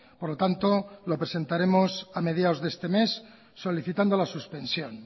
por lo tanto lo presentaremos a mediados de este mes solicitando la suspensión